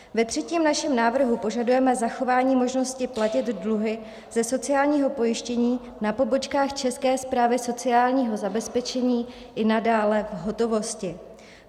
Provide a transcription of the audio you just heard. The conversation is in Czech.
Ve třetím našem návrhu požadujeme zachování možnosti platit dluhy ze sociálního pojištění na pobočkách České správy sociálního zabezpečení i nadále v hotovosti.